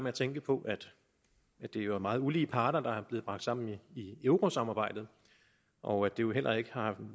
at tænke på at det jo er meget ulige parter der er blevet bragt sammen i eurosamarbejdet og at det jo heller ikke har